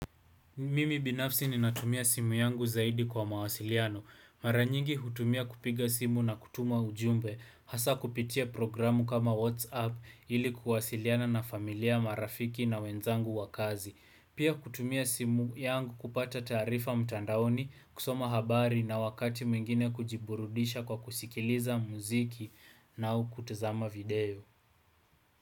Mimi binafsi ninatumia simu yangu zaidi kwa mawasiliano. Mara nyingi hutumia kupiga simu na kutuma ujumbe. Hasa kupitia programu kama WhatsApp ili kuwasiliana na familia marafiki na wenzangu wa kazi. Pia kutumia simu yangu kupata taarifa mtandaoni, kusoma habari na wakati mwingine kujiburudisha kwa kusikiliza muziki na kutuzama video.